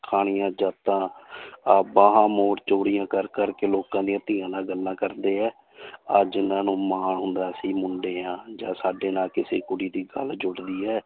ਖਾਣੀਆਂ ਜਾਤਾਂ ਆਹ ਬਾਹਾਂ ਚੋੜੀਆਂ ਕਰ ਕਰਕੇ ਲੋਕਾਂ ਦੀਆਂ ਧੀਆਂ ਨਾਲ ਗੱਲਾਂ ਕਰਦੇ ਹੈ ਆਹ ਜਿੰਨਾਂ ਨੂੰ ਮਾਣ ਹੁੰਦਾ ਸੀ ਮੁੰਡੇ ਹਾਂ ਜਾਂ ਸਾਡੇ ਨਾਲ ਕਿਸੇ ਕੁੜੀ ਦੀ ਗੱਲ ਜੁੜਦੀ ਹੈ